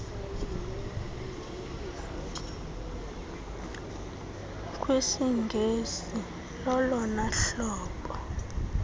kwisingesi lolona hlobo